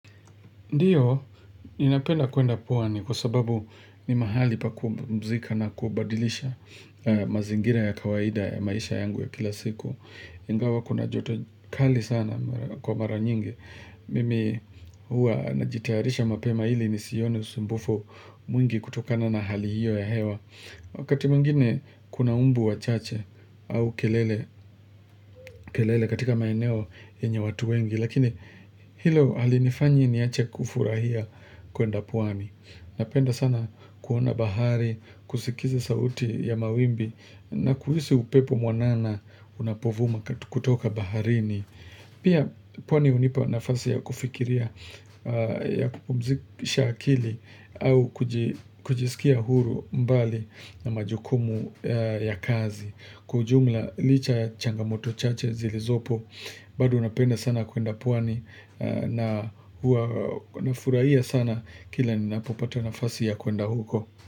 Ndiyo, ninapenda kuenda pwani kwa sababu ni mahali pa kumzika na kubadilisha mazingira ya kawaida ya maisha yangu ya kila siku. Ingawa kuna joto kali sana kwa mara nyingi. Mimi hua najitayarisha mapema ili nisione usumbufu mwingi kutokana na hali hiyo ya hewa. Wakati mwingine kuna mbu wachache au kelele katika maeneo yenye watu wengi. Lakini hilo halinifanyi niache kufurahia kuenda pwani Napenda sana kuona bahari, kusikiza sauti ya mawimbi na kuhisi upepo mwanana unapovuma kutoka baharini Pia pwani hunipa nafasi ya kufikiria ya kupumzikisha akili au kujisikia huru mbali na majukumu ya kazi Kwa ujumla licha ya changamoto chache zilizopo bado napenda sana kuenda pwani na nafurahia sana kila ninapopata nafasi ya kuenda huko.